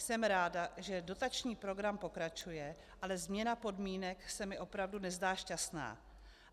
Jsem ráda, že dotační program pokračuje, ale změna podmínek se mi opravdu nezdá šťastná.